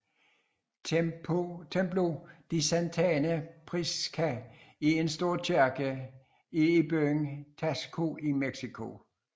Templo de Santa Prisca er en stor kirke er i byen Taxco i Mexico